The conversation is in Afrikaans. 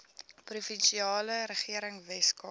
provinsiale regering weskaap